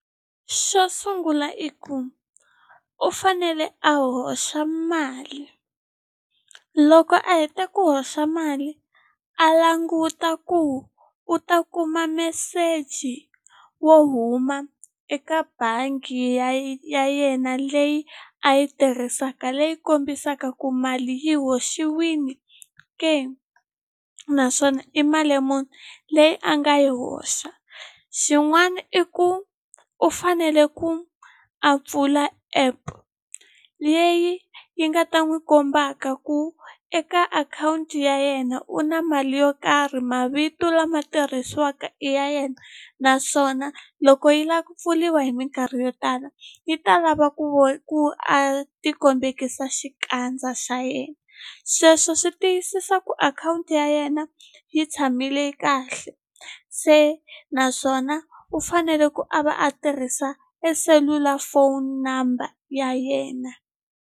Xo sungula i ku u fanele a hoxa mali loko a heta ku hoxa mali a languta ku u ta kuma meseji wo huma eka bangi ya yena leyi a yi tirhisaka leyi kombisaka ku mali yi hoxiwini ke naswona i mali muni leyi a nga yi hoxa xin'wana i ku u fanele ku a pfula app leyi yi nga ta n'wi kombaka ku eka akhawunti ya yena u na mali yo karhi mavito lama tirhisiwaka i ya yena naswona loko yi lava ku pfuriwa hi minkarhi yo tala yi ta lava ku ku a ti kombekisa xikandza xa yena sweswo swi tiyisisa ku akhawunti ya yena yi tshamile kahle se naswona u fanele ku a va a tirhisa eselulafoni number ya yena.